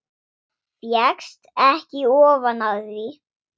Fékkst ekki ofan af því.